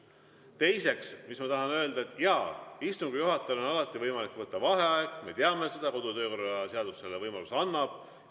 Teiseks, ma tahan öelda, et jaa, istungi juhatajal on alati võimalik võtta vaheaeg, me teame seda, kodu‑ ja töökorra seadus selle võimaluse annab.